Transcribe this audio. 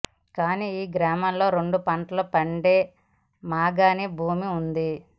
కాని యీ గ్రామంలో రెండు పంటలు పండే మాగాణి భూమి వుంది